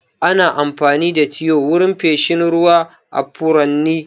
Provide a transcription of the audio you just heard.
Ana amfani da tiyo wurin feshin ruwa a furanni.